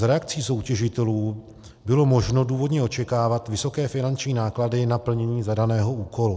Z reakcí soutěžitelů bylo možno důvodně očekávat vysoké finanční náklady na plnění zadaného úkolu.